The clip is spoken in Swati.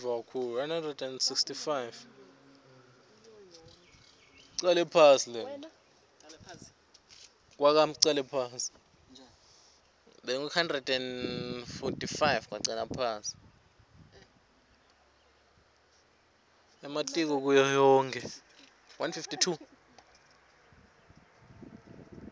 ematiko kuyo yonkhe